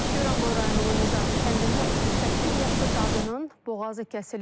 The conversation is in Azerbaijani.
Goranboy rayonunun Nizami kəndində 38 yaşlı qadının boğazı kəsilib.